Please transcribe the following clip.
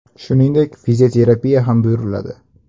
Shuningdek, fizioterapiya ham buyuriladi.